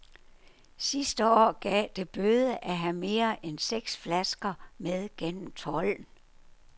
Sidste år gav det bøde at have mere end seks flasker med gennem tolden.